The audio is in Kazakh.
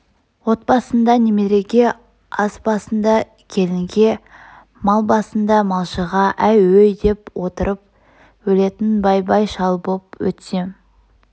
от басында немереге ас басында келінге мал басында малшыға әй өй деп отырып өлетін бай-бай шал боп өтсем